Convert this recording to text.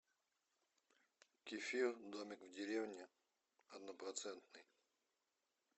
кефир домик в деревне однопроцентный